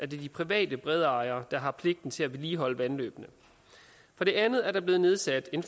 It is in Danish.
de private bredejere der har pligten til at vedligeholde vandløbene for det andet er der blevet nedsat en